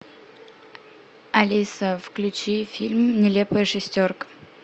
алиса включи фильм нелепая шестерка